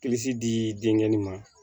di denkɛnin ma